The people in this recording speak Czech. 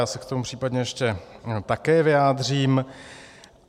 Já se k tomu případně ještě také vyjádřím.